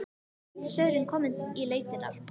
Týndi sauðurinn kominn í leitirnar.